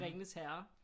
Ringenes Herre